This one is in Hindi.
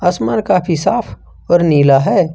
काफी साफ और नीला है।